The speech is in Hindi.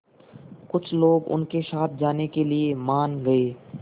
कुछ लोग उनके साथ जाने के लिए मान गए